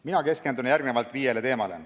Mina keskendun viiele teemale.